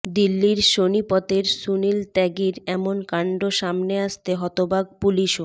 দিল্লির সোনিপতের সুনীল ত্যাগীর এমন কাণ্ড সামনে আসতে হতবাক পুলিশও